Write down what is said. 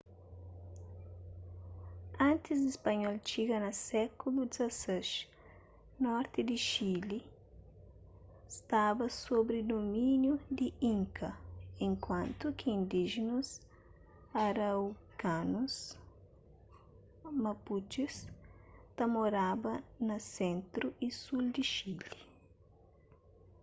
antis di spanhol txiga na sékulu xvi norti di chile staba sobri dumíniu di inka enkuantu ki indíjenus araucanos mapuches ta moraba na sentru y sul di chile